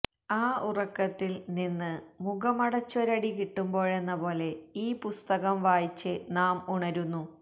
ആ ഉറക്കത്തിൽ നിന്ന് മുഖമടച്ചൊരടി കിട്ടുമ്പോഴെന്ന പോലെ ഈ പുസ്തകം വായിച്ച് നാം ഉണരുന്നു